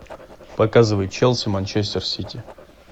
показывай челси манчестер сити